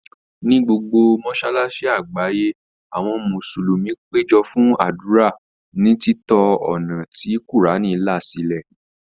Ní gbogbo mọ́sálásí àgbáyé, àwọn mùsùlùmí péjọ fún ádùrá, ní títọ ọ̀nà tí Kùránì là sílẹ̀.